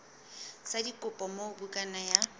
sa dikopo moo bukana ya